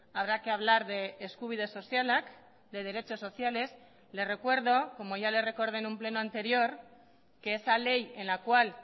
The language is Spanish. habrá que hablar de eskubide sozialak de derechos sociales le recuerdo como ya le recordé en un pleno anterior que esa ley en la cual